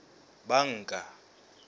banka